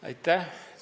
Aitäh!